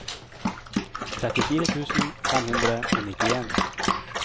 trettifire tusen fem hundre og nittien